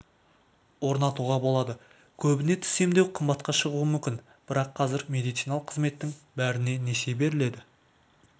орнатуға болады көбіне тіс емдеу қымбатқа шығуы мүмкін бірақ қазір медициналық қызметтің бәріне несие беріледі